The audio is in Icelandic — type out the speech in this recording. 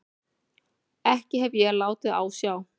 Ekki hef ég látið á sjá.